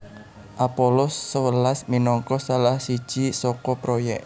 Apollo sewelas minangka salah siji saka proyèk